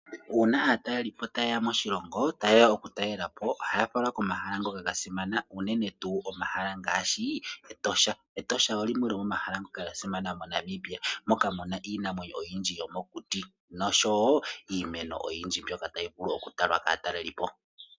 Uuna aatalelipo taye ya moshilongo, taye ya okutalelapo ohaya falwa pomahala ngoka gasimana, uunene tuu omahala ngoka ngaashi Etosha. Etosha olyo limwe lyomomahala ngoka gasimana moNamibia moka muna iinamwenyo oyindji yomokuti nosho wo iimeno oyindji mbyoka tayi vulu okutalwa kaatalelipo.